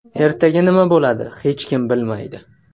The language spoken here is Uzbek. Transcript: Ertaga nima bo‘ladi, hech kim bilmaydi.